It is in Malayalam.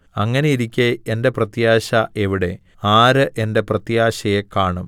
അങ്ങനെയിരിക്കെ എന്റെ പ്രത്യാശ എവിടെ ആര് എന്റെ പ്രത്യാശയെ കാണും